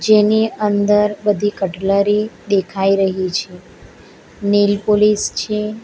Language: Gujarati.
એની અંદર બધી કટલરી દેખાઈ રહી છે નેલ પોલિસ છે.